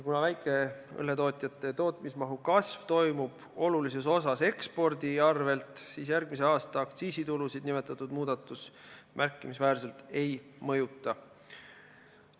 Kuna väikeõlletootjate tootmismahu kasv tuleb suures osas ekspordi arvel, siis järgmise aasta aktsiisitulusid nimetatud muudatus märkimisväärselt ei mõjuta.